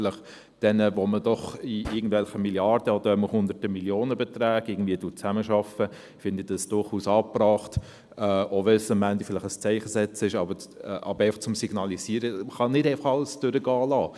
Aber bei denen, bei denen man mit Milliarden oder hunderten von Millionenbeträgen zusammenarbeitet, finde ich es durchaus angebracht, auch wenn es am Ende ein Zeichensetzen ist – einfach, um zu signalisieren, dass man nicht alles durchgehen lassen kann.